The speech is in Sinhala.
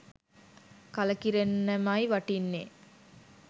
කලකිරෙන්නමයි වටින්නේ.